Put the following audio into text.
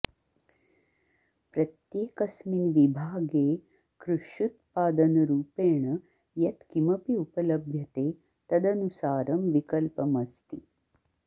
प्रत्येकस्मिन् विभागे कृष्युत्पादनरूपेण यत् किमपि उपलभ्यते तदनुसारं विकल्पमस्ति